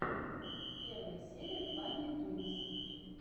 первая серия фанни тунс